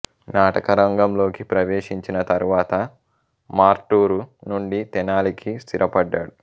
నాటకరంగంలోకి ప్రవేశించిన తరువాత మార్టూరు నుండి తెనాలి కి స్థిరపడ్డారు